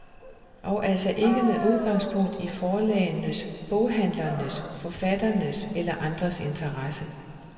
Og altså ikke med udgangspunkt i forlagenes, boghandlernes, forfatternes eller andres interesser.